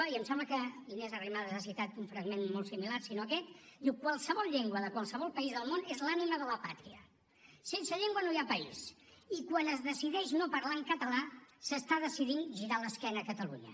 i em sembla que inés arrimadas ha citat un fragment molt similar si no aquest diu qualsevol llengua de qualsevol país del món és l’anima de la pàtria sense llengua no hi ha país i quan es decideix no parlar en català s’està decidint girar l’esquena a catalunya